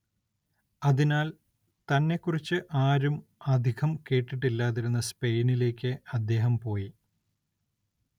അതിനാൽ തന്നെക്കുറിച്ച് ആരും അധികം കേട്ടിട്ടില്ലാതിരുന്ന സ്പെയിനിലേയ്ക്ക് അദ്ദേഹം പോയി.